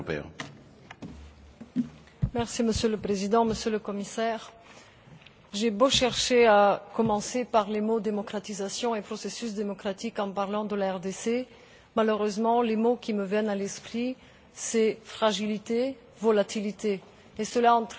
Monsieur le Président, Monsieur le Commissaire, j'ai beau chercher à commencer par les mots démocratisation et processus démocratique en parlant de la République démocratique du Congo malheureusement, les mots qui me viennent à l'esprit sont fragilité, volatilité et cela entraîne vigilance et responsabilités.